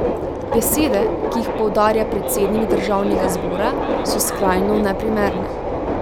Besede, ki jih poudarja predsednik državnega zbora, so skrajno neprimerne.